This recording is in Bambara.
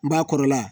N ba kɔrɔla